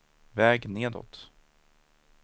väg nedåt